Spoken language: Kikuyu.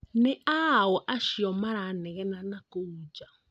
Nĩ aũũ acio maranegena nakũu nja?